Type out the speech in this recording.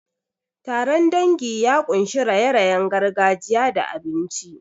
Taron dangi ya ƙunshi raye-rayen gargajiya da abinci.